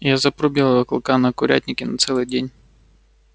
я запру белого клыка на курятнике на целый день